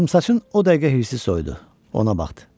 Qıvrımsaçın o dəqiqə hirsi soyudu, ona baxdı.